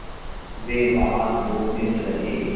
वे वहाँ दो दिन रहे